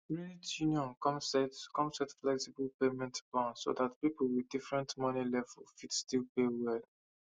credit union come set come set flexible payment plan so that people with different money level fit still pay well